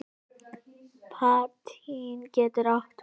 Patína getur átt við